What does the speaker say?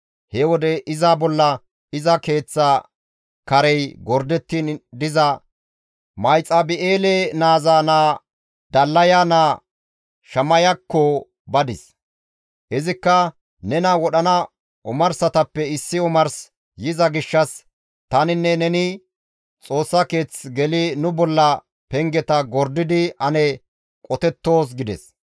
He wode iza bolla iza keeththa karey gordettiin diza Mahexabi7eele naaza naa Dallaya naa Shamayakko badis; izikka «Nena wodhana omarsatappe issi omars yiza gishshas taninne neni Xoossa keeth geli nu bolla pengeta gordidi ane qotettoos» gides.